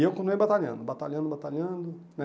E eu continuei batalhando, batalhando, batalhando, né?